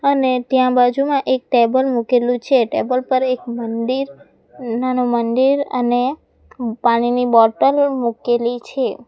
અને ત્યાં બાજુમાં એક ટેબલ મુકેલું છે ટેબલ પર એક મંદિર નાનું મંદિર અને પાણીની બૉટલ મૂકેલી છે.